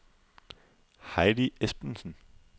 Heidi Esbensen